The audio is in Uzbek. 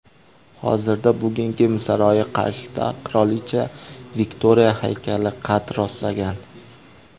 Hozirda Bukingem saroyi qarshisida qirolicha Viktoriya haykali qad rostlagan.